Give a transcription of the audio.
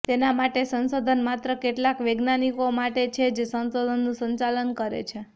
તેના માટે સંશોધન માત્ર કેટલાક વૈજ્ઞાનિકો માટે છે જે સંશોધનનું સંચાલન કરે છે